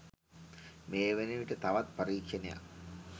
මේ වනවිට තවත් පරීක්ෂණයක්